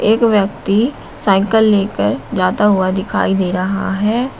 एक व्यक्ति साइकल लेकर जाता हुआ दिखाई दे रहा है।